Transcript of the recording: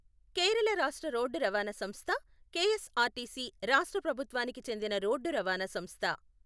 కేరళ రాష్ట్ర రోడ్డు రవాణా సంస్థ, కెఎస్ఆర్టీసీ రాష్ట్ర ప్రభుత్వానికి చెందిన రోడ్డు రవాణా సంస్థ.